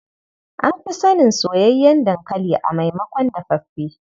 An fi sanin soyayyen dankali a maimakon dafaffe.